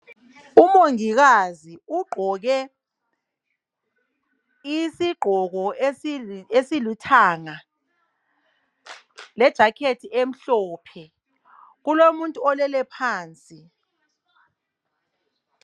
Umongikazi ugqoke isigqoko esilithanga lejakhethi emhlophe. Kulomuntu olele phansi.